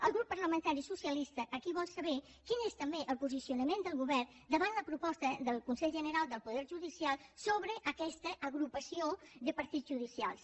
el grup parlamentari socialista aquí vol saber quin és també el posicionament del govern davant la proposta del consell general del poder judicial sobre aquesta agrupació de partits judicials